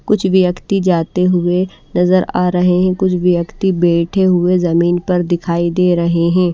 कुछ व्यक्ति जाते हुए नजर आ रहे हैं कुछ व्यक्ति बैठे हुए जमीन पर दिखाई दे रहे हैं।